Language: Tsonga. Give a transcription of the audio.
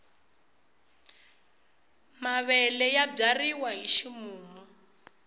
mavele ya byariwa hi ximumu